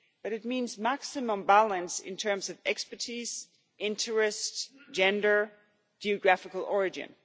it means maximum balance in terms of expertise, interests, gender, and geographical origin.